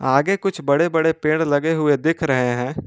आगे कुछ बड़े बड़े पेड़ लगे हुए दिख रहे है।